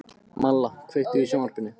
Malla, kveiktu á sjónvarpinu.